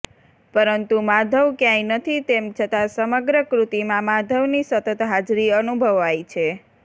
પરતું માધવ ક્યાંય નથી તેમ છતાં સમગ્ર કૃતિમાં માધવ ની સતત હાજરી અનુભવવાય છે